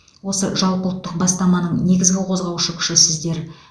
осы жалпыұлттық бастаманың негізгі қозғаушы күші сіздер